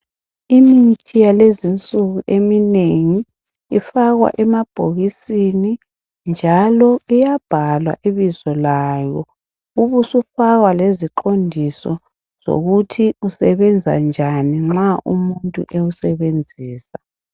Imithi yalezinsuku eminengi ifakwa emabhokisini njalo iyabhalwa ibizo layo ubusufakwa leziqondiso zokuthi usebenza njani nxa umuntu ewusebenzisa.